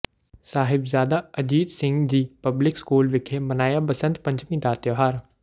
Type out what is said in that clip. Sahibzada Ajit Singh ji public school ਵਿਖੇ ਮਨਾਇਆ ਬਸੰਤ ਪੰਚਮੀ ਦਾ ਤਿਉਹਾਰ